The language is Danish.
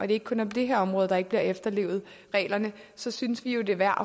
det ikke kun er på det her område reglerne ikke bliver efterlevet så synes vi jo det er værd